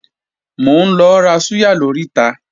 Mò ń lọ ra súyà lóríta